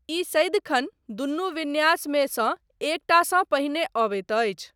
ई सदिखन दुनू विन्यासमे सँ एकटासँ पहिने अबैत अछि।